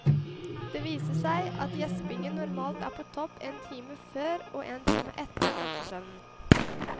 Det viser seg at gjespingen normalt er på topp en time før og en time etter nattesøvnen.